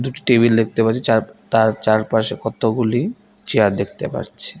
দুটি টেবিল দেখতে পাচ্ছি চার তার চারপাশে কতগুলি চেয়ার দেখতে পারছি।